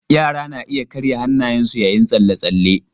Yara na iya karya hannayensu yayin tsalle-tsalle.